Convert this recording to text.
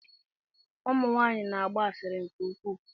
Ụmụ nwanyị na-agba asịrị nke ukwuu.